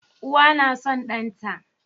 Uwa na son ɗan ta